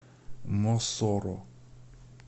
мосоро